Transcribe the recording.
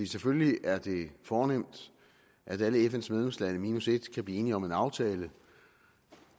selvfølgelig er det fornemt at alle fns medlemslande minus et kan blive enige om en aftale